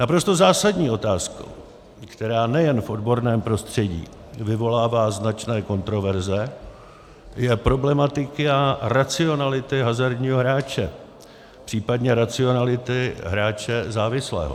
Naprosto zásadní otázkou, která nejen v odborném prostředí vyvolává značné kontroverze, je problematika racionality hazardního hráče, případně racionality hráče závislého.